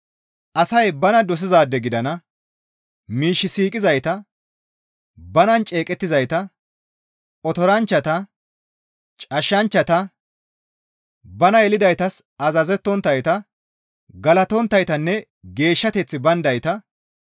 Asay bana dosizaade gidana; miish siiqizayta, banan ceeqettizayta, otoranchchata, cashshanchchata, bana yelidaytas azazettonttayta, galatonttaytanne geeshshateththi bayndayta,